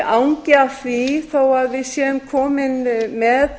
angi af því þó að við séum komin með